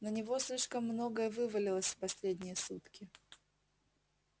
на него слишком многое вывалилось в последние сутки